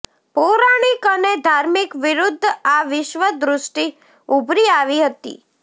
પૌરાણિક અને ધાર્મિક વિરુદ્ધ આ વિશ્વ દૃષ્ટિ ઉભરી આવી હતી